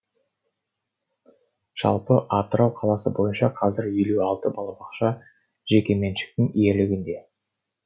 жалпы атырау қаласы бойынша қазір елу алты балабақша жекеменшіктің иелігінде